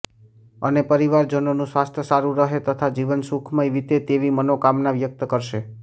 અને પરિવારજનોનું સ્વાસ્થ્ય સારું રહે તથા જીવન સુખમય વીતે તેવી મનોકામના વ્યકત કરશે